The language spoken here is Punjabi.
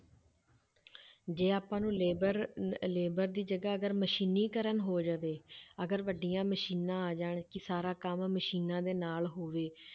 ਜੇ ਆਪਾਂ ਨੂੰ labour ਨ~ labour ਦੀ ਜਗ੍ਹਾ ਅਗਰ ਮਸ਼ੀਨੀਕਰਨ ਹੋ ਜਾਵੇ ਅਗਰ ਵੱਡੀਆਂ ਮਸ਼ੀਨਾਂ ਆ ਜਾਣ ਕਿ ਸਾਰਾ ਕੰਮ ਮਸ਼ੀਨਾਂ ਦੇ ਨਾਲ ਹੋਵੇ,